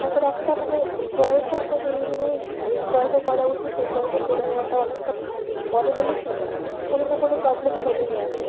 তারপর একটা মানে বয়েস একটা জিনিস নিয়ে যে এই বয়েসে করা উচিত এই বয়েসে করে নেওয়াটা অনেক ভালো পরে হলে কি কোনো না কোনো problem চলেই আসে।